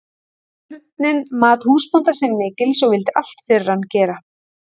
Björninn mat húsbónda sinn mikils og vildi allt fyrir hann gera.